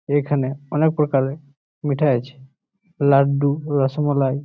এখানে অনেক প্রকারে মিঠা আছে। লাড্ডু রসমালাই--